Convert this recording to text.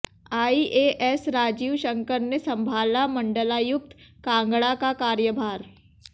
IAS Rajiv Shankar ने संभाला मंडलायुक्त कांगड़ा का कार्यभार